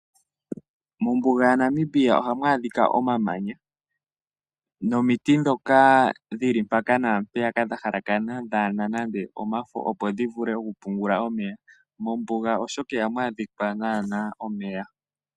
Mombuga yaNamibia ohamu adhika omamanya nomiti ndhoka dhili mpaka naampeyaka dha halakana kadhina nande omafo opo dhivule oku pungula omeya . Mombuga oshoka ihamu adhika naana omeya.